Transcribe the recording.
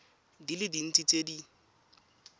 di le dintsi tse di